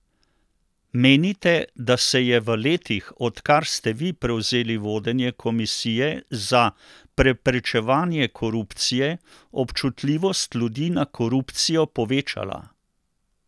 Menite, da se je v letih, odkar ste vi prevzeli vodenje komisije za preprečevanje korupcije, občutljivost ljudi na korupcijo povečala?